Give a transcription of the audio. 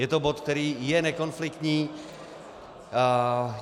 Je to bod, který je nekonfliktní.